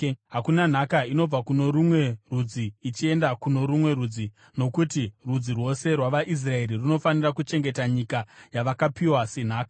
Hakuna nhaka inobva kuno rumwe rudzi ichienda kuno rumwe rudzi, nokuti rudzi rwose rwavaIsraeri runofanira kuchengeta nyika yavakapiwa senhaka.”